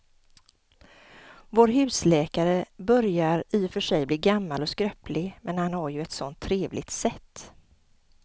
Vår husläkare börjar i och för sig bli gammal och skröplig, men han har ju ett sådant trevligt sätt!